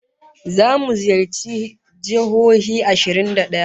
Zamu ziyarci jihohi ashirin ba daya